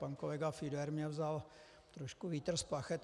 Pan kolega Fiedler mi vzal trochu vítr z plachet.